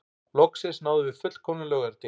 Loksins náðum við fullkomnum laugardegi